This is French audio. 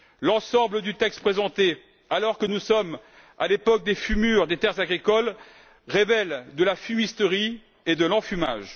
L'ensemble du texte présenté alors que nous sommes à l'époque des fumures des terres agricoles relève de la fumisterie et de l'enfumage.